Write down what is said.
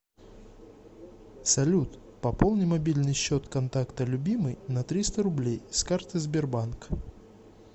салют пополни мобильный счет контакта любимый на триста рублей с карты сбербанк